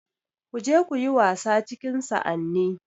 Ku je kuyi wasa cikin sa'anni